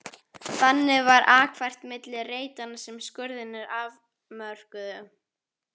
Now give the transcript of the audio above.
Þannig var akfært milli reitanna sem skurðirnir afmörkuðu.